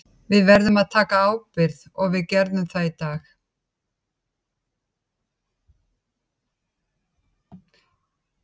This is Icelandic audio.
Við verðum að taka ábyrgð og við gerðum það í dag.